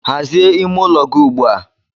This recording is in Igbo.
Hazie ime ụlọ gị ugbu a.